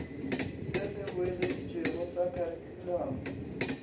se se boeleditšwego sa kharikhulamo